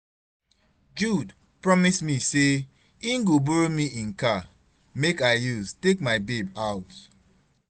Jude promise me say im go borrow me im car make I use take my babe out